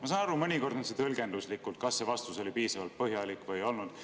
Ma saan aru, et mõnikord on tõlgenduslik, kas vastus oli piisavalt põhjalik või ei olnud.